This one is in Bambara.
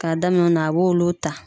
K'a daminɛ o na a b'olu ta.